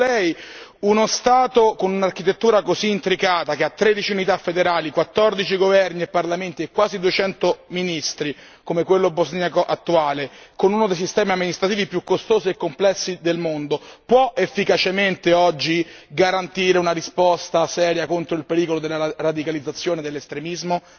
secondo Lei, uno Stato con un'architettura così intricata che ha 13 unità federali, 14 governi e parlamenti e quasi 200 ministri come quello bosniaco attuale con uno dei sistemi amministrativi più costosi e complessi del mondo può efficacemente oggi garantire una risposta seria contro il pericolo della radicalizzazione dell'estremismo?